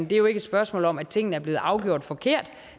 det er jo ikke et spørgsmål om at tingene er blevet afgjort forkert